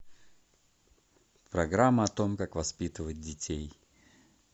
программа о том как воспитывать детей